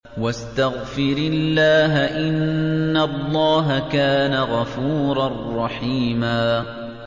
وَاسْتَغْفِرِ اللَّهَ ۖ إِنَّ اللَّهَ كَانَ غَفُورًا رَّحِيمًا